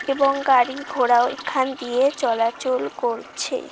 এবং গাড়ি ঘোড়াও এখান দিয়ে চলাচল করছে।